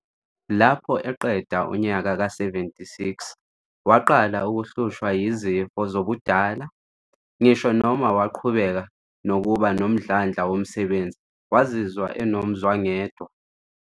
Lapho eqeda unyaka ka 76, waqala ukuhlushwa yizifo zobudala, ngisho noma waqhubeka nokuba nomdlandla womsebenzi, wazizwa enomzwangedwa.